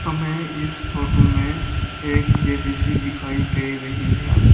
हमें इस फोटो में एक जे_बी_सी दिखाई दे रही है।